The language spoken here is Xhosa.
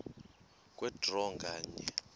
kwe draw nganye